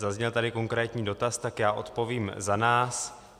Zazněl tady konkrétní dotaz, tak já odpovím za nás.